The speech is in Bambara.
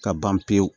Ka ban pewu